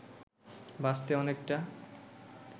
বাঁচতে অনেকটা